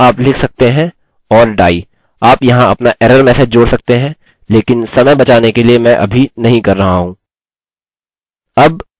उसी तरह यहाँ आप लिख सकते हैं or die आप यहाँ अपना एरर मैसेज जोड़ सकते हैं लेकिन समय बचाने के लिए मैं अभी नहीं कर रहा हूँ